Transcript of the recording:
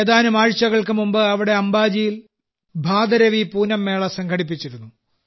ഏതാനും ആഴ്ചകൾക്ക് മുമ്പ് അവിടെ അംബാജിയിൽ ഭാദരവി പൂനം മേള സംഘടിപ്പിച്ചിരുന്നു